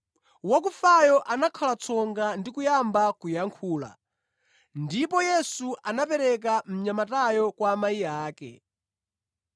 Wakufayo anakhala tsonga ndi kuyamba kuyankhula, ndipo Yesu anamupereka mnyamatayo kwa amayi ake.